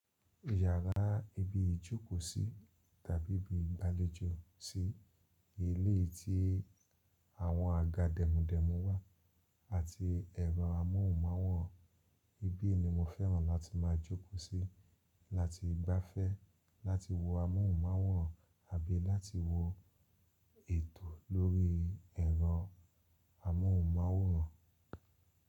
Yàrá ibi ìjókòó sí tàbí ibi ìgbàlejò sí, ilé tí àwọn àga dèmudẹ̀mu wà àti ẹ̀rọ amóhùnmáwòrán, ibí ni mo fẹ́ràn láti máa jókòó sí láti gbáfẹ́ láti wo amóhùnmáwòrán àbí láti wo ètò lórí ẹ̀rọ amóhùnmáwòrán.